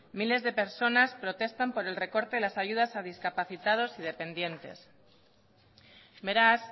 miles de personas protestan por el recorte a las ayudas a discapacitados y dependientes beraz